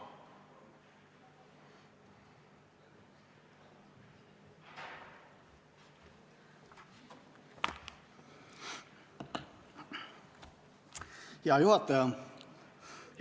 Hea juhataja!